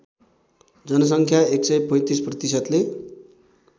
जनसङ्ख्या १३५ प्रतिशतले